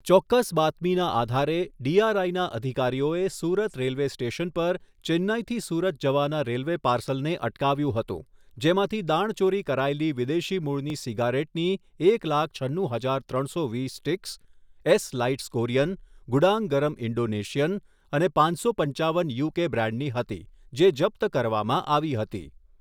ચોક્કસ બાતમીના આધારે, ડીઆરઆઈના અધિકારીઓએ સુરત રેલ્વે સ્ટેશન પર ચેન્નઈથી સુરત જવાના રેલ્વે પાર્સલને અટકાવ્યું હતું જેમાંથી દાણચોરી કરાયેલી વિદેશી મૂળની સિગારેટની એક લાખ છન્નુ હજાર ત્રણસો વીસ sticks Esse lights Korean, Gudang Garam Indonesian અને પાંચસો પંચાવન યુકે બ્રાન્ડની હતી, જે જપ્ત કરવામાં આવી હતી.